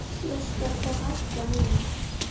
Ég skal þá hætta núna.